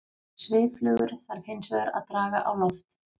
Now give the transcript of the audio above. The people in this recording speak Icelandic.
Svifflugur þarf hins vegar að draga á loft.